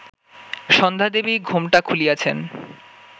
সন্ধ্যাদেবী ঘোমটা খুলিয়াছেন